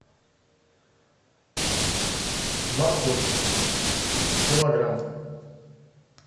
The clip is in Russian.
морковь килограмм